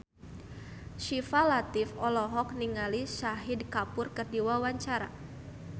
Syifa Latief olohok ningali Shahid Kapoor keur diwawancara